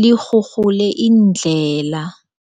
lirhurhule iindlela.